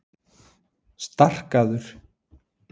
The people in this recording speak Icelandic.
Starkaður